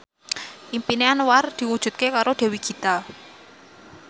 impine Anwar diwujudke karo Dewi Gita